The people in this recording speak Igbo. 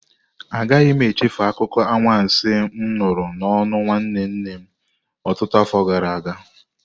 Agaghị m echefu akụkọ anwansi m nụrụ n'ọnụ nwanne nne m ọtụtụ afọ gara aga.